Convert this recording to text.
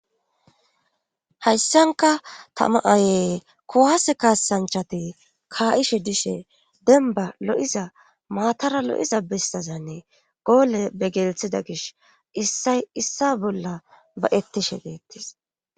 hayssanka tama ayee kowaase kaasanchati kaa7ishe dishe denba lo7iza maatara lo7iza bessazanne goole be gelethida gish issay issa bolla ba'ettishe deettis